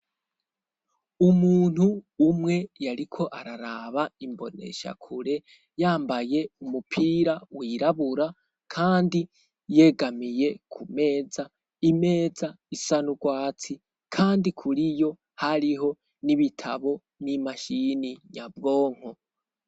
Umuntu umwe yariko araraba imboneshakure yambaye umupira wirabura kandi yegamiye ku meza, imeza isa n'urwatsi kandi kuriyo hariho n'ibitabo n'imashini nyabwonko.